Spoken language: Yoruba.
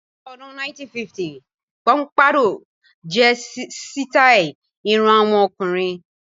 Ní ọdún 1950 póḿpádọ́ọ̀ jẹ́ sítàì irun àwọn ọkùnrin.